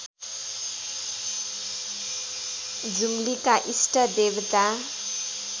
जुम्लीका इष्ट देवता